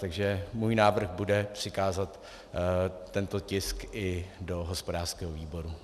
Takže můj návrh bude přikázat tento tisk i do hospodářského výboru.